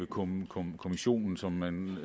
kommissorium som man